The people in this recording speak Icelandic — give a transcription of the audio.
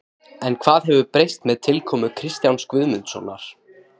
En hvað hefur breyst með tilkomu Kristjáns Guðmundssonar?